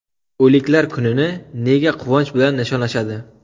O‘liklar kunini nega quvonch bilan nishonlashadi?